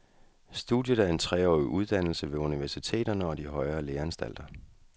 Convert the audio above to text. Studiet er en treårig uddannelse ved universiteterne og de højere læreanstalter.